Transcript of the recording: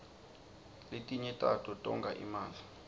lefinye tato tonga imali